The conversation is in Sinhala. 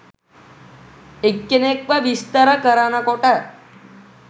එක්කෙනෙක්ව විස්තර කරනකොට?